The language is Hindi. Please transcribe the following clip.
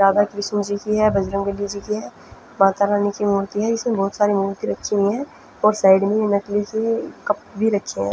राधा कृष्माण जी की है बजरंग बली जी की है माता रानी की मूर्ति है इसमें बहुत सारी मूर्ति रखी हुई है और साइड मे नकली से कप भी रखे है।